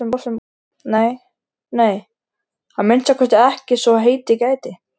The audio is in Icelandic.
Nei, nei, að minnsta kosti ekki svo heitið gæti.